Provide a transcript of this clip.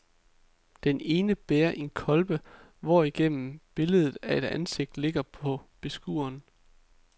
Den ene bærer en kolbe, hvorigennem billedet af et ansigt kigger på beskueren.